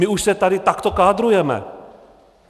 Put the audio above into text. My už se tady takto kádrujeme.